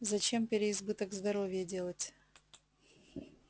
зачем переизбыток здоровья делать